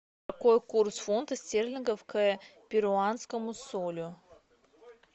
какой курс фунтов стерлингов к перуанскому солю